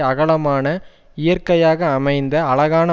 அகலமான இயற்கையாக அமைந்த அழகான